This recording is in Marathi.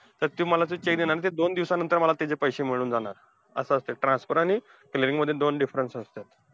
तर ते मला ते cheque देणार ना तर दोन दिवसानंतर मला त्याचे पैसे मिळून जाणार. असं असतंय transfer आणि filling मध्ये दोन difference असत्यात.